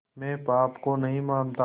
मैं पाप को नहीं मानता